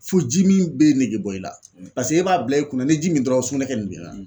Fo jimin be nege bɔ i la paseke e b'a bila i kunna n'i ye ji min dɔrɔn sugunɛkɛ nin b'i ra.